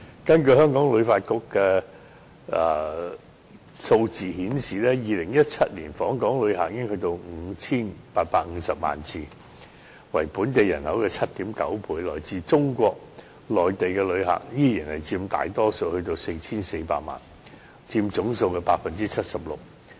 根據香港旅遊發展局的數字顯示 ，2017 年訪港旅客達到 5,850 萬人次，為本地人口的 7.9 倍，其中來自中國內地的旅客依然佔大多數，超過 4,400 萬，佔總數的 76%。